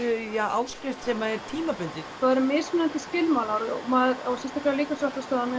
áskrift sem er tímabundin það eru mismunandi skilmálar og sérstaklega á líkamsræktarstöðvunum